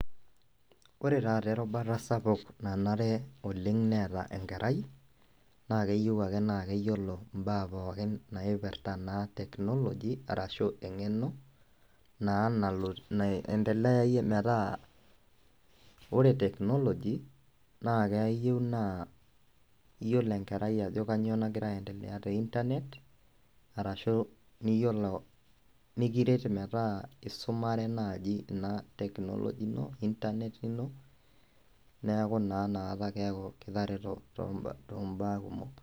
Ore taata erubata sapuk nanare oleng neeta enkerai na keyieu ake neyiolo mbaa pookin naipirta technology ashu engeno naiendelae metaa ore technology metaa ore enkerai neyiolo ajo kanyio nagira aendelea te internet ahu niyiolo nikiret ina technology, internet ino neaku naa kitareto tombaa kumok.